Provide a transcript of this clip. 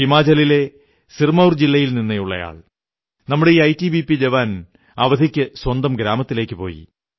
ഹിമാചലിലെ സിർമൌർ ജില്ലയിൽ നിന്നുള്ളയാൾ നമ്മുടെ ഈ ഐടിബിപി ജവാൻ അവധിക്ക് സ്വന്തം ഗ്രാമത്തിലേക്കു പോയി